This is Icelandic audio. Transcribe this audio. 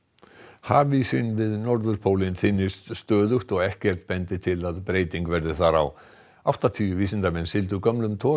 hafísinn við norðurpólinn þynnist stöðugt og ekkert bendir til að breyting verði þar á áttatíu vísindamenn sigldu gömlum togara